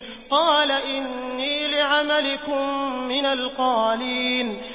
قَالَ إِنِّي لِعَمَلِكُم مِّنَ الْقَالِينَ